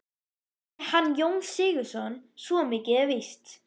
Ekki hann Jón Sigurðsson, svo mikið er víst.